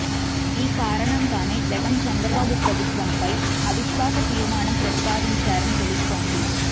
ఈ కారణంగానే జగన్ చంద్రబాబు ప్రభుత్వంపై అవిశ్వాస తీర్మానం ప్రతిపాదించారని తెలుస్తోంది